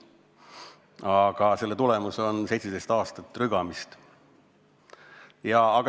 Aga selle tulemus on 17 aastat rügamist.